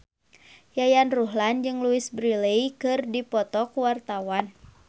Yayan Ruhlan jeung Louise Brealey keur dipoto ku wartawan